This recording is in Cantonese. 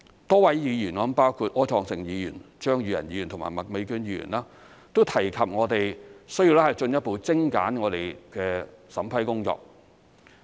多位議員——包括柯創盛議員、張宇人議員和麥美娟議員——都提及我們需要進一步精簡我們的審批工作。